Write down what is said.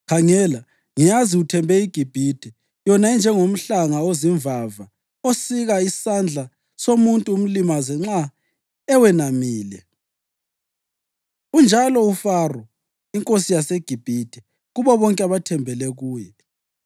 Khangela, ngiyazi uthembe iGibhithe, yona enjengomhlanga ozimvava osika isandla somuntu umlimaze nxa eweyamile. Unjalo uFaro inkosi yaseGibhithe kubo bonke abathembele kuye.